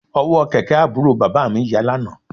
Ọ̀wọ́ kẹ̀kẹ́ àbúrò bàbá mi ya lánàá